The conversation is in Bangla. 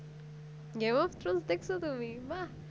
দেখছো তুমি বাহ